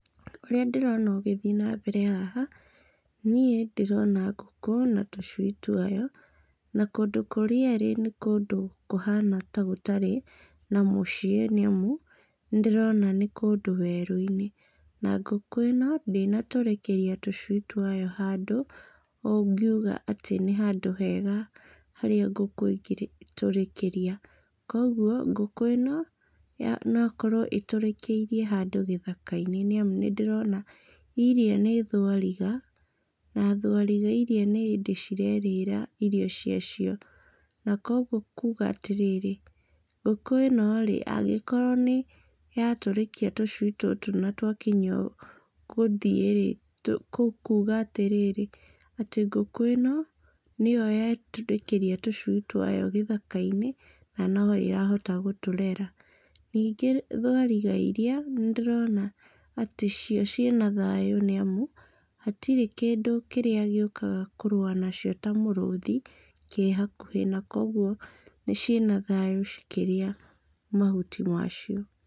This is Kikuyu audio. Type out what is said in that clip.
Ũrĩa ndĩrona ũgĩthiĩ nambere haha, niĩ ndĩrona ngũkũ na tũcui twayo. Na kũndũ kũrĩa ĩrĩ nĩ kũndũ kũhana ta gũtarĩ na mũciĩ nĩ amu, nĩ ndĩrona nĩ kũndũ werũ-inĩ. Na ngũkũ ĩno ndĩnatũrĩkĩria tũcui twayo handũ ũngiuga atĩ nĩ handũ hega harĩa ngũkũ ĩngĩtũrĩkĩria. Kwoguo ngũkũ ĩno, no okorwo ĩtũrĩkĩirie handũ gĩthaka-inĩ nĩ amu, nĩ ndĩrona iria nĩ thwariga, na thwariga iria nĩ hĩndĩ ciraĩrĩra irio cia cio, na kwoguo kuuga atĩ rĩrĩ, ngũkũ ĩno rĩ, angĩkorwo nĩ yatũrĩkia tũcui tũtũ na twakinya gũthiĩ rĩ, kũu kuuga atĩ rĩrĩ, atĩ ngũkũ ĩno nĩ yo yaĩtũrĩkĩria tũcui twayo gĩthaka-inĩ na no ĩrahota gũtũrera. Ningĩ thwariga iria nĩ ndĩrona atĩ cio ciĩna thayũ nĩ amu, hatirĩ kĩndũ kĩrĩa gĩũkaga kũrũa nacio ta mũrũthi kĩ hakuhĩ, na kwoguo ciĩna thayũ cikĩria mahuti maacio.